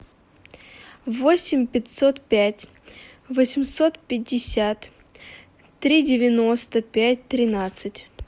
восемь пятьсот пять восемьсот пятьдесят три девяносто пять тринадцать